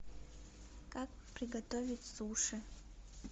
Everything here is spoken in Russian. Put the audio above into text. как приготовить суши